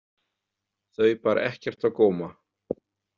Þau bar ekkert á góma.